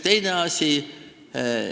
Teine asi.